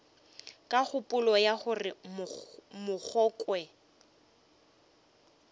ka kgopolo ya gore mogongwe